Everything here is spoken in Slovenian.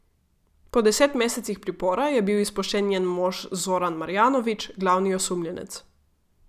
Po deset mesecih pripora je bil izpuščen njen mož Zoran Marjanović, glavni osumljenec.